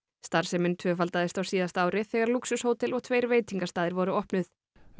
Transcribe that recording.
starfsemin tvöfaldaðist á síðasta ári þegar lúxushótel og tveir veitingastaðir voru opnuð